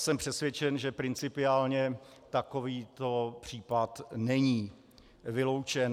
Jsem přesvědčen, že principiálně takovýto případ není vyloučen.